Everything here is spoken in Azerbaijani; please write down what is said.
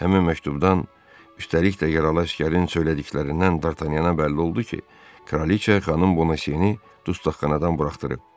Həmin məktubdan, üstəlik də yaralı əsgərin söylədiklərindən Dartanyana bəlli oldu ki, Kraliçə xanım Bonasini dustaqxanadan buraxdırıb.